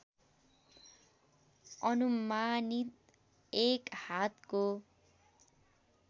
अनुमानित एक हातको